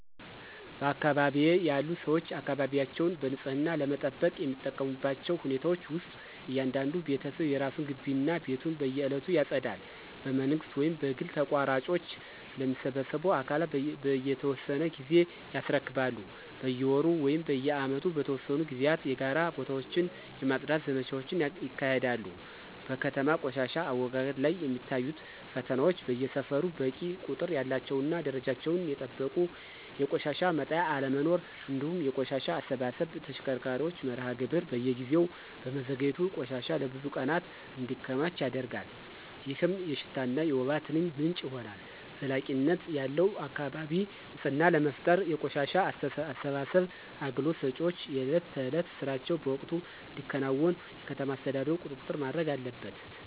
በአካባቢዬ ያሉ ሰዎች አካባቢያቸውን በንጽህና ለመጠበቅ የሚጠቀሙባቸው ሁኔታዎች ውስጥ እያንዳንዱ ቤተሰብ የራሱን ግቢ እና ቤቱን በየዕለቱ ያጸዳል። በመንግሥት ወይም በግል ተቋራጮች ለሚሰበስቡ አካላት በየተወሰነ ጊዜ ያስረክባሉ። በየወሩ ወይም በዓመት በተወሰኑ ጊዜያት የጋራ ቦታዎችን የማፅዳት ዘመቻዎች ይካሄዳሉ። በከተማ ቆሻሻ አወጋገድ ላይ የሚታዩት ፈተናዎች በየሰፈሩ በቂ ቁጥር ያላቸውና ደረጃቸውን የጠበቁ የቆሻሻ መጣያ አለመኖር፤ እንዲሁም የቆሻሻ አሰባሰብ ተሽከርካሪዎች መርሃ ግብር በየጊዜው በመዘግየቱ ቆሻሻ ለብዙ ቀናት እንዲከማች ያደርጋል፣ ይህም የሽታና የወባ ትንኝ ምንጭ ይሆናል። ዘላቂነት ያለው የአካባቢ ንፅህና ለመፍጠር የቆሻሻ አሰባሰብ አገልግሎት ሰጪዎች የዕለት ተዕለት ሥራቸውን በወቅቱ እንዲያከናውኑ የከተማ አስተዳደሩ ቁጥጥር ማድረግ አለበት።